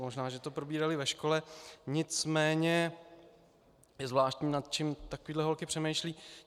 Možná že to probírali ve škole, nicméně je zvláštní, nad čím takovéhle holky přemýšlejí.